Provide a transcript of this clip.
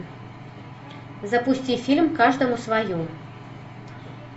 запусти фильм каждому свое